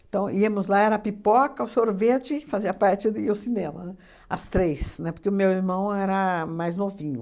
Então, íamos lá, era a pipoca, o sorvete, fazia a parte e o cinema, as três, né, porque o meu irmão era mais novinho.